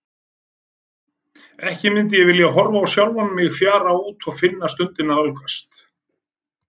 Ekki mundi ég vilja horfa á sjálfa mig fjara út og finna stundina nálgast.